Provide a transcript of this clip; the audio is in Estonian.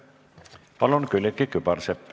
Palun, Külliki Kübarsepp!